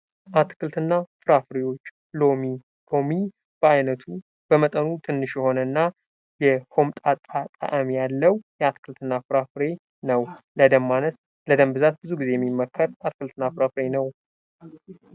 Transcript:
አትክልትና ፍራፍሬወች፤ ሎሚ፦ ሎሚ በአይነቱ በመጠኑም ትንሽ የሆነና የሆምጣጣ ጣእም ያለው አትክልትና ፍራፍሬ ነው ፤ለደም ማነስ ለደም ብዛት ብዙ ጊዜ የሚመከር አትክልትና ፍራፍሬ ነው።